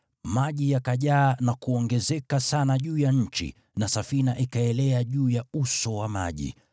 Maji yakajaa na kuongezeka sana juu ya nchi, na safina ikaelea juu ya uso wa maji.